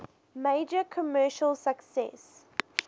major commercial success